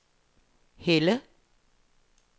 Helle